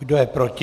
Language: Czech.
Kdo je proti?